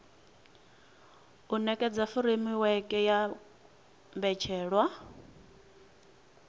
u nekedza furemiweke ya mbetshelwa